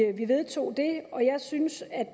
at vi vedtog det og jeg synes at